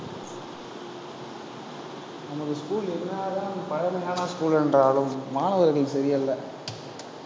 நமக்கு school என்னதான் பழக்கமான school என்றாலும், மாணவர்கள் சரியல்ல